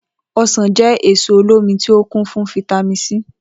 O̩sàn jé̩ èso olómi tí ó kún fún fítámì C